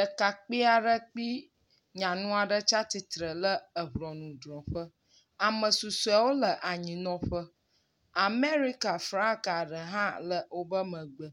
Ɖekakpui aɖe kple nyanu aɖe tsia tsitre le eŋɔnudrɔƒe, ame susuewo le anyinɔƒe. Amerika flaga ɖe hã le woƒe megbe.